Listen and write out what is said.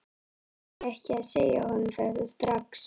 Varð ég ekki að segja honum þetta strax?